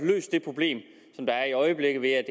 løst det problem som der er i øjeblikket med at